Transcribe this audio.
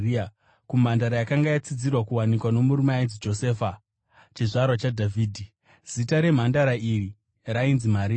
kumhandara yakanga yatsidzirwa kuwanikwa nomurume ainzi Josefa, chizvarwa chaDhavhidhi. Zita remhandara iyi rainzi Maria.